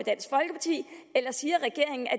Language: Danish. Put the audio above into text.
eller siger regeringen at